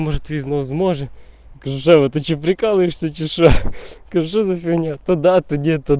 может видно возможно живота прикалываешься часа скажу что за фигня тогда ты одета